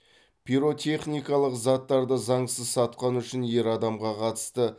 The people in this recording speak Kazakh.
пиротехникалық заттарды заңсыз сатқаны үшін ер адамға қатысты қазақстан республикасының әқбк